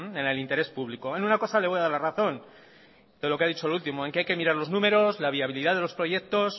en el interés público en una cosa le voy a dar la razón de lo que ha dicho lo último en que hay que mirar los números la viabilidad de los proyectos